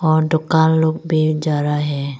और दुकान लोग भी जा रहा है।